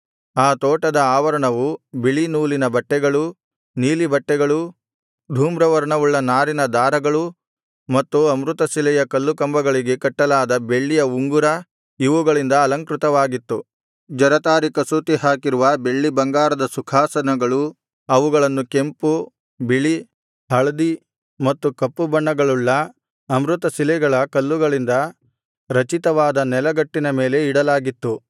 ಆ ತೋಟದ ಆವರಣವು ಬಿಳೀ ನೂಲಿನ ಬಟ್ಟೆಗಳೂ ನೀಲಿಬಟ್ಟೆಗಳೂ ಧೂಮ್ರವರ್ಣವುಳ್ಳ ನಾರಿನ ದಾರಗಳು ಮತ್ತು ಅಮೃತಶಿಲೆಯ ಕಲ್ಲುಕಂಬಗಳಿಗೆ ಕಟ್ಟಲಾದ ಬೆಳ್ಳಿಯ ಉಂಗುರ ಇವುಗಳಿಂದ ಅಲಂಕೃತವಾಗಿತ್ತು ಜರತಾರಿ ಕಸೂತಿ ಹಾಕಿರುವ ಬೆಳ್ಳಿ ಬಂಗಾರದ ಸುಖಾಸನಗಳು ಅವುಗಳನ್ನು ಕೆಂಪು ಬಿಳಿ ಹಳದಿ ಮತ್ತು ಕಪ್ಪು ಬಣ್ಣಗಳುಳ್ಳ ಅಮೃತಶಿಲೆಗಳ ಕಲ್ಲುಗಳಿಂದ ರಚಿತವಾದ ನೆಲಗಟ್ಟಿನ ಮೇಲೆ ಇಡಲಾಗಿತ್ತು